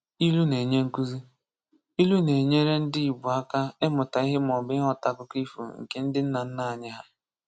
Ilu na-enye nkụzi: Ilu na-enyere ndị Igbo aka ịmụta ihe maọbụ ịghọta akụkọ ifo nke ndị nna nna anyị hà